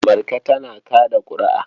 Marka tana kaɗa ƙuri'a.